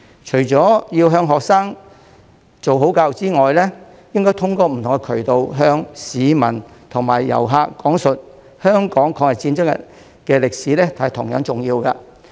除了要向學生做好教育之外，通過不同渠道向市民和遊客講述香港抗日戰爭的歷史同樣重要。